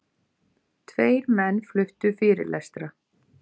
Tveir menn fluttu fyrirlestra.